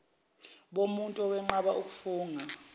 bomuntu owenqaba ukufunga